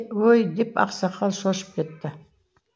өй деп ақсақал шошып кетті